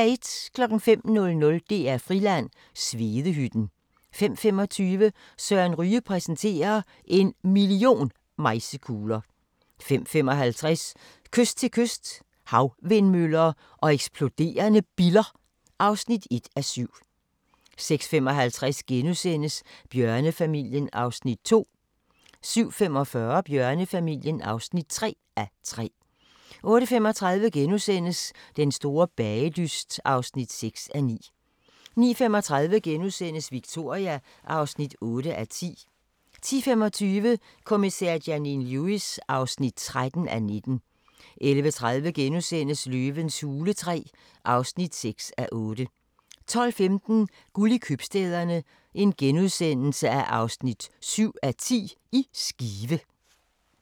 05:00: DR-Friland: Svedehytten 05:25: Søren Ryge præsenterer – En million mejsekugler ... 05:55: Kyst til kyst – Havvindmøller og eksploderende biller (1:7) 06:55: Bjørnefamilien (2:3)* 07:45: Bjørnefamilien (3:3) 08:35: Den store bagedyst (6:9)* 09:35: Victoria (8:10)* 10:25: Kommissær Janine Lewis (13:19) 11:30: Løvens hule III (6:8)* 12:15: Guld i købstæderne – Skive (7:10)*